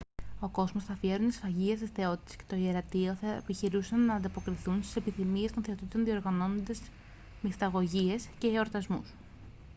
ο κόσμος θα αφιέρωνε σφαγιά στις θεότητες και το ιερατείο θα επιχειρούσαν να ανταποκριθούν στις επιθυμίες των θεοτήτων διοργανώνοντας μυσταγωγίες και εορτασμούς